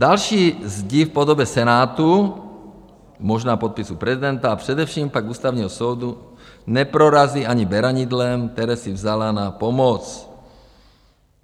Další zdi v podobě Senátu, možná podpisu prezidenta a především pak Ústavního soudu neprorazí ani beranidlem, které si vzala na pomoc.